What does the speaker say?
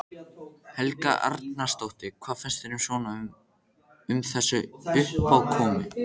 Helga Arnardóttir: Hvað fannst þér svona um þessa uppákomu?